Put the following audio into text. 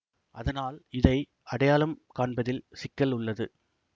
அதனால் இதை அடையாளம் காண்பதில் சிக்கல் உள்ளது